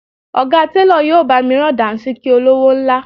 Ọ̀gá télọ̀ yóò bá mi rán Dàńṣíkí olówó ńlá